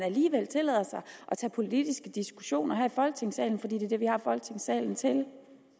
sig at tage politiske diskussioner her i folketingssalen for det er det vi har folketingssalen til